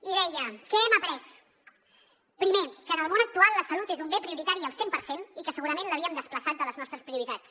i deia què hem après primer que en el món actual la salut és un bé prioritari al cent per cent i que segurament l’havíem desplaçat de les nostres prioritats